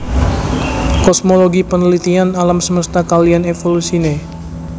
Kosmologi penelitian alam semesta kaliyan evolusine